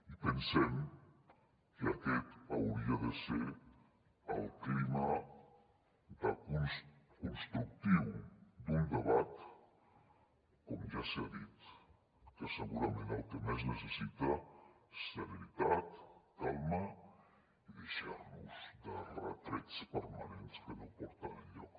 i pensem que aquest hauria de ser el clima constructiu d’un debat com ja s’ha dit que segurament el que més necessita és serenitat calma i deixar nos de retrets permanents que no porten enlloc